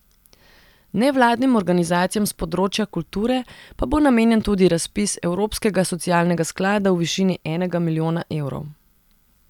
Nevladnim organizacijam s področja kulture pa bo namenjen tudi razpis evropskega socialnega sklada v višini enega milijona evrov.